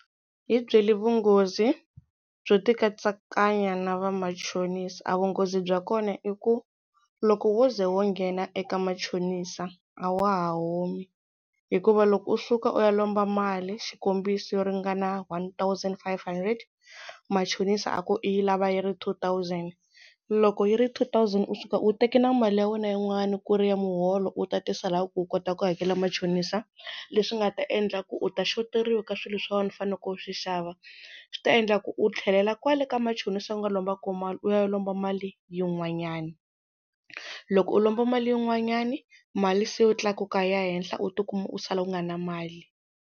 Hi byeli vunghozi byo ti katsakanya na vamachonisi? A vunghozi bya kona i ku loko wo ze wo nghena eka machonisa a wa ha humi hikuva loko u suka u ya lomba mali xikombiso yo ringana one thousand five hundred machonisa a ku i yi lava yi ri two thousand loko yi ri two thousand u suka u teke na mali ya wena yin'wana ku ri ya muholo u tatisa la ku u kota ku hakela machonisa leswi nga ta endla ku u ta shoteriwa ka swilo swa wena u faneleke u swi xava swi ta endla ku u tlhelela kwale ka machonisa u nga lomba ko mali u ya lomba mali yin'wanyani loko u lomba mali yin'wanyani mali se u tlakuka yi ya henhla u tikuma u sala u nga na mali.